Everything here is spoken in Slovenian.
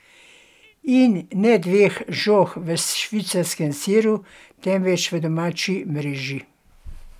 In ne dveh žog v švicarskem siru, temveč v domači mreži.